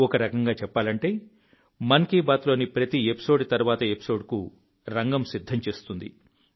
ఒక రకంగా చెప్పాలంటే మన్ కీ బాత్లోని ప్రతి ఎపిసోడ్ తర్వాతి ఎపిసోడ్కు రంగం సిద్ధం చేస్తుంది